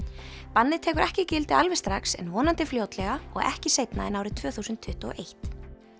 bannið tekur ekki gildi alveg strax en vonandi fljótlega og ekki seinna en árið tvö þúsund tuttugu og eitt